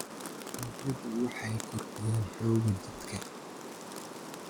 dalagyadu waxay kordhiyaan xoogga jidhka.